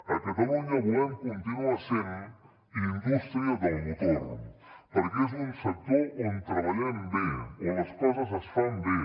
a catalunya volem continuar sent indústria del motor perquè és un sector on treballem bé on les coses es fan bé